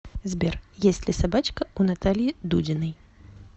сбер есть ли собачка у натальи дудиной